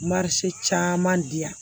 Marisi caman di yan